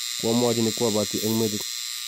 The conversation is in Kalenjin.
kwamuochi ne kwa buoti eng' metit